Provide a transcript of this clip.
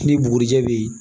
Ni bugurijɛ bɛ yen